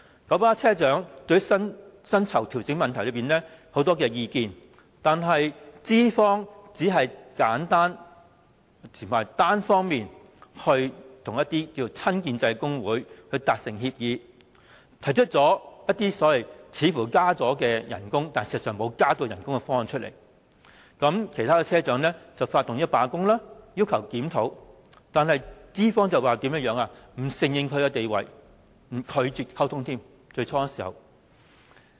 九巴車長對薪酬調整有很多意見，但資方只是簡單和單方面與親建制工會達成協議，提出一些似乎是加薪，但實際上沒有加薪的方案，其他車長因而發動罷工，要求檢討，但資方並不承認他們的地位，最初更拒絕溝通。